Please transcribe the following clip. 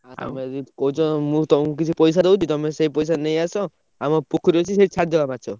ଆଉ ତମେ ଯଦି କହୁଛ ମୁଁ ତମୁକୁ କିଛି ପଇସା ଦଉଛି ତମେ ସେ ପଇସାରେ ନେଇଆସ ଆମ ପୋଖରୀ ଅଛି ସେଇଠି ଛାଡି ଦବା ମାଛ।